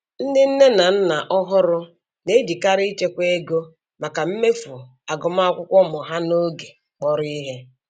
Ndị nne na nna ọhụrụ na-ejikarị ịchekwa ego maka mmefu agụmakwụkwọ ụmụ ha n'oge kpọrọ ihe.